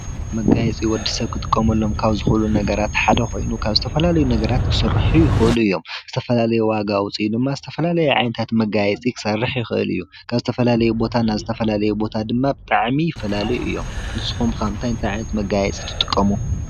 መጋየፂ ወዲሰብ ክጥቀመሎም ካብ ዝክእል ነገራት ሓደ ኮይኑ ካብ ዝተፈላለዩ ነገራት ክስርሑ ይክእሉ እዮም፡፡ ዝተፈላለየ ዋጋ ውፅኢት ድማ ዝተፈላለየ መጋየፂ ክሰርሕ ይክእል እዩ፡፡ ካብ ዝተፈላለዩ ቦታ ናብ ዝተፈላለየ ቦታ ድማ ብጣዕሚ ይፈላለዩ እዮም፡፡ ንስካትኩም ከ እንታይ እንታይ ዓይነት መጋየፂ ትጥቀሙ?